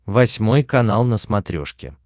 восьмой канал на смотрешке